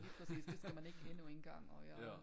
Lige præcis det skal man ikke endnu en gang og jeg